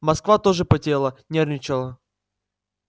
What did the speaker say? москва тоже потела нервничала